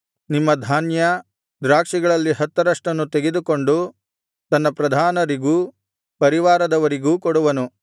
ನಿಮ್ಮ ಧಾನ್ಯ ದ್ರಾಕ್ಷಿಗಳಲ್ಲಿ ಹತ್ತರಷ್ಟನ್ನು ತೆಗೆದುಕೊಂಡು ತನ್ನ ಪ್ರಧಾನರಿಗೂ ಪರಿವಾರದವರಿಗೂ ಕೊಡುವನು